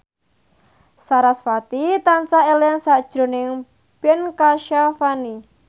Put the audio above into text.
sarasvati tansah eling sakjroning Ben Kasyafani